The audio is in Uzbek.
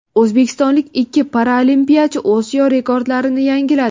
O‘zbekistonlik ikki paralimpiyachi Osiyo rekordlarini yangiladi.